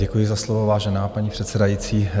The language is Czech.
Děkuji za slovo, vážená paní předsedající.